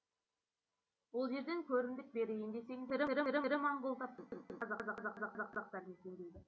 ол жерден көрімдік берейін десең де тірі моңғол таппайсың тек қана қазақтар мекендейді